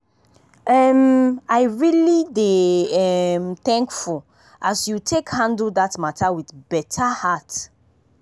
um i really dey um thankfull as you take handle that matter with better heart.